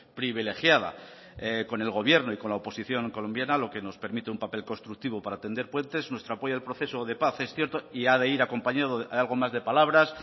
privilegiada con el gobierno y con la oposición colombiana lo que nos permite un papel constructivo para tender puentes nuestro apoyo al proceso de paz es cierto y ha de ir acompañado de algo más de palabras